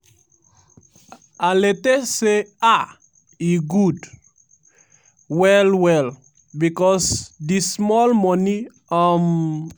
alete say "ah e good well-well becos di small money um